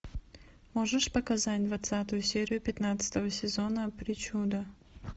можешь показать двадцатую серию пятнадцатого сезона причуда